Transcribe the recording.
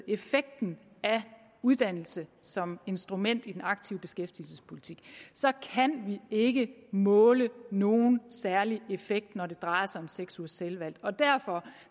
effekten af uddannelse som instrument i den aktive beskæftigelsespolitik kan vi ikke måle nogen særlig effekt når det drejer sig om seks ugers selvvalgt derfor